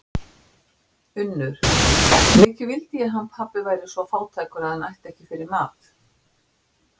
UNNUR: Mikið vildi ég hann pabbi væri svo fátækur að hann ætti ekki fyrir mat.